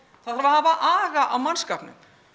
það þarf að hafa aga á mannskapnum